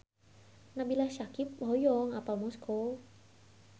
Nabila Syakieb hoyong apal Moskow